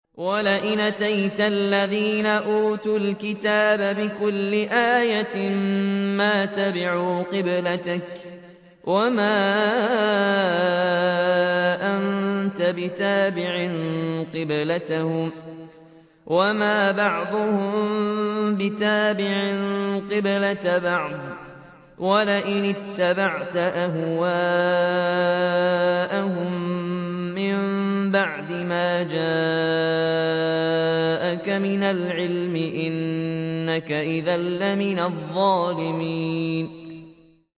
وَلَئِنْ أَتَيْتَ الَّذِينَ أُوتُوا الْكِتَابَ بِكُلِّ آيَةٍ مَّا تَبِعُوا قِبْلَتَكَ ۚ وَمَا أَنتَ بِتَابِعٍ قِبْلَتَهُمْ ۚ وَمَا بَعْضُهُم بِتَابِعٍ قِبْلَةَ بَعْضٍ ۚ وَلَئِنِ اتَّبَعْتَ أَهْوَاءَهُم مِّن بَعْدِ مَا جَاءَكَ مِنَ الْعِلْمِ ۙ إِنَّكَ إِذًا لَّمِنَ الظَّالِمِينَ